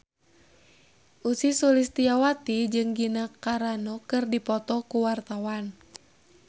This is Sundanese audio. Ussy Sulistyawati jeung Gina Carano keur dipoto ku wartawan